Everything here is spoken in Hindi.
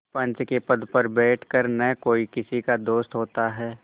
पंच के पद पर बैठ कर न कोई किसी का दोस्त होता है